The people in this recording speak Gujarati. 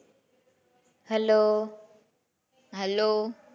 Hello, hello?